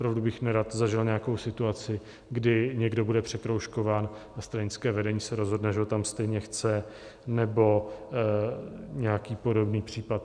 Opravdu bych nerad zažil nějakou situaci, kdy někdo bude překroužkován a stranické vedení se rozhodne, že ho tam stejně chce, nebo nějaký podobný případ.